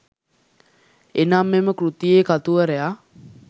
එනම් මෙම කෘතියේ කතුවරයා